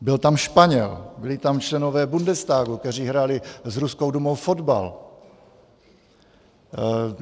Byl tam Španěl, byli tam členové Bundestagu, kteří hráli s Ruskou dumou fotbal.